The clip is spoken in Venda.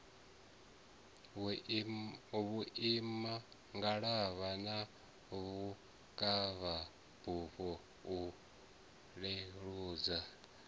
vhuimangalavha na vhukavhabufho u leludza